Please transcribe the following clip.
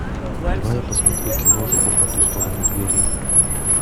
давай я посмотрю киношку по ту сторону двери